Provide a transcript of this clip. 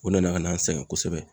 O nana ka na an sɛgɛn kosɛbɛ.